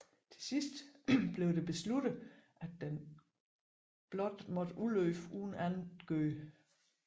Til sidst blev det besluttet at den blot måtte udløbe uden andet gjort